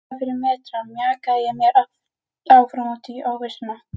Metra fyrir metra mjakaði ég mér áfram út í óvissuna.